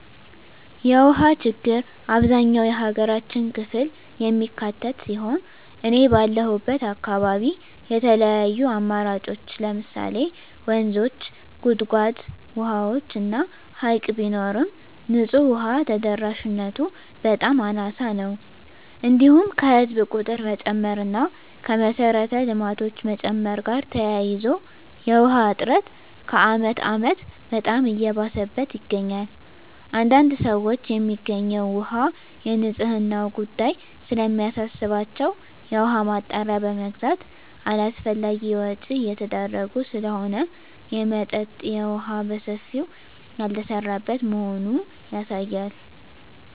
የውሃ ችግር አብዛኛው የሀገራችን ክፍል የሚካትት ሲሆን እኔ ባለሁበት አካባቢ የተለያዩ አማራጮች ለምሳሌ ወንዞች; ጉድጓድ ውሃዎች እና ሀይቅ ቢኖርም ንፁህ ውሃ ተደራሽነቱ በጣም አናሳ ነው። እንዲሁም ከህዝብ ቁጥር መጨመር እና ከመሰረተ ልማቶች መጨመር ጋር ተያይዞ የውሃ እጥረቱ ከአመት አመት በጣም እየባሰበት ይገኛል። አንዳንድ ሰዎች የሚገኘው ውሃ የንፅህናው ጉዳይ ስለሚያሳስባቸው የውሃ ማጣሪያ በመግዛት አላስፈላጊ ወጭ እየተዳረጉ ስለሆነ የመጠጠጥ የውሃ በሰፊው ያልተሰራበት መሆኑ ያሳያል።